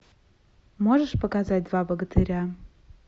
можешь показать два богатыря